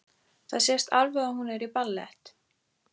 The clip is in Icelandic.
Það sést alveg að hún er í ballett.